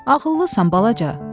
Ağıllısan balaca.